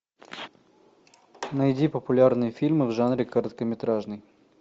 найди популярные фильмы в жанре короткометражный